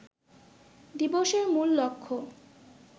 দিবসের মূল লক্ষ্য